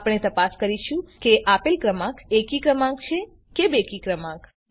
આપણે તપાસ કરીશું કે આપેલ ક્રમાંક એકી ક્રમાંક છે કે બેકી ક્રમાંક છે